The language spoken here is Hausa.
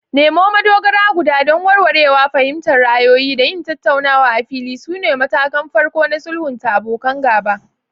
Nemo madogara guda don warwarewa, fahimtar ra'ayoyi, da yin tattaunawa a fili sune matakan farko na sulhunta abokan gaba.